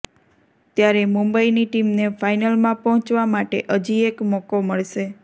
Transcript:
ત્યારે મુંબઇની ટીમને ફાઇનલમાં પહોંચવા માટે હજી એક મોકો મળશે